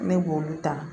Ne b'olu ta